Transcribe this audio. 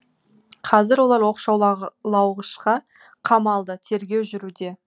қазір олар оқшаула лауғышқа қамалды тергеу жүруде